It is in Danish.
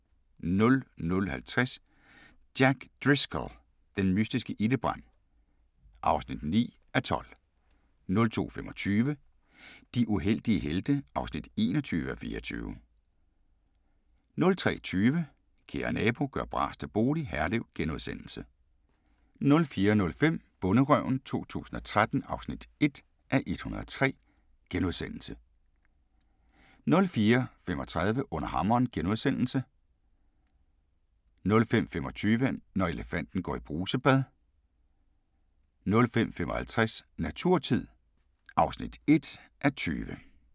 00:50: Jack Driscoll – den mystiske ildebrand (9:12) 02:25: De uheldige helte (21:24) 03:20: Kære nabo – gør bras til bolig – Herlev * 04:05: Bonderøven 2013 (1:103)* 04:35: Under hammeren * 05:25: Når elefanten går i brusebad 05:55: Naturtid (1:20)